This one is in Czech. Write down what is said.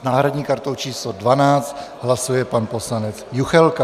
S náhradní kartou číslo 12 hlasuje pan poslanec Juchelka.